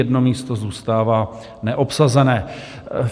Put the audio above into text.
Jedno místo zůstává neobsazené.